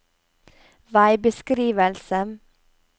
veibeskrivelse